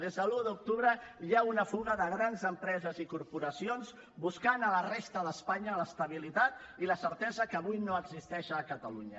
des de l’uno d’octubre hi ha una fuga de grans empreses i corporacions buscant a la resta d’espanya l’estabilitat i la certesa que avui no existeix a catalunya